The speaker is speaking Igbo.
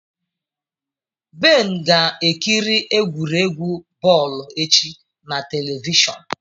Ben ga ekiri egwuregwu bọọlụ echi na televishọn.